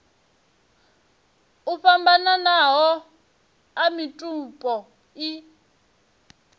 o fhambananaho a mitupo i